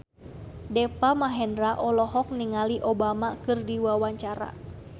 Deva Mahendra olohok ningali Obama keur diwawancara